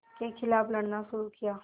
के ख़िलाफ़ लड़ना शुरू किया